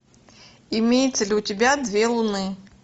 имеется ли у тебя две луны